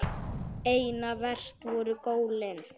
Einna verst voru gólin.